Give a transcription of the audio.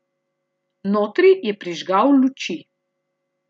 Notri je prižgal luči.